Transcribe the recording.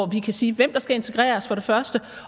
vi kan sige hvem der skal integreres